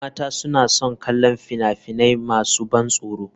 Yan mata suna son kallon fina-finai masu ban tsoro.